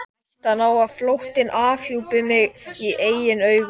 Hættan á að flóttinn afhjúpaði mig í eigin augum.